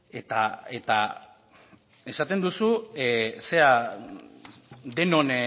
eta esaten duzu